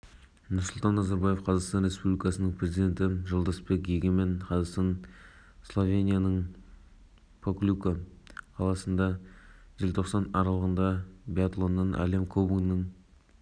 тищенкоға берген болатын төрешілердің бұл шешіміне тек қазақстандық жанкүйерлер ғана емес әлемнің бокс сүйер жанкүйерлерінің